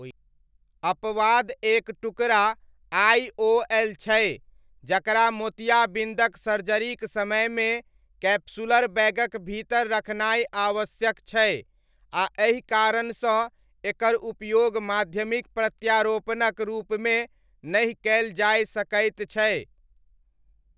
अपवाद एक टुकड़ा आइओएल छै, जकरा मोतियाबिन्दक सर्जरीक समयमे कैप्सूलर बैगक भीतर रखनाइ आवश्यक छै आ एहि कारणसँ एकर उपयोग माध्यमिक प्रत्यारोपणक रूपमे नहि कयल जाय सकैत छै।